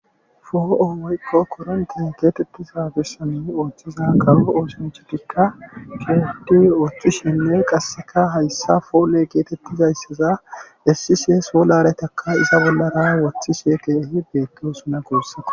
foo7o woykko koronte geetettiza gissami oothchiza qawo ooshinchotikka fiodi ooththishenne qasseka hayssa foole geetettizaysseza essishe soolaretaka iza bollara woththishe teehi beetdo suna goossata